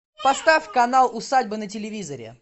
поставь канал усадьба на телевизоре